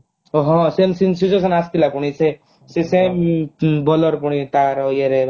ଓଃ ହଁ ସେମିତି same situation ଆସିଥିଲା ପୁଣି ସେ ସେ same bowler ପୁଣି ତାର ଇଏ ରେ ମାନେ